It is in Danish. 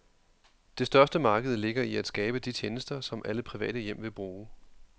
Det største marked ligger i at skabe de tjenester, som alle private hjem vil bruge.